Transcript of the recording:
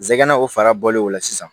Zɛgɛnɛ o fara bɔlen o la sisan